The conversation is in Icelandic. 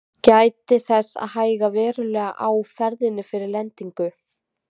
Gætið þess að hægja verulega á ferðinni fyrir lendingu.